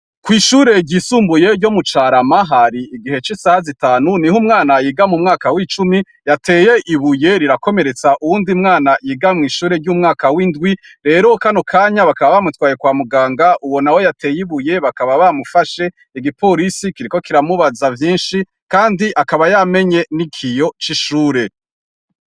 Kw'ishure ryisumbuye ryo mu carama, hari igihe c'isaha zitanu niho umwana yiga mu mwaka w'icumi yateye ibuye rirakomeretsa uwundi mwana yiga mu ishure ry'umwaka w'indwi, rero kano kanya bakaba bamutwaye kwa muganga uwo nawe yateye ibuye bakaba bamufashe, igipolisi kiriko kiramubaza vyinshi kandi akaba yamenye n'ikiyo c'ishure.